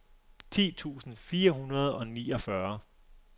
ti tusind fire hundrede og niogfyrre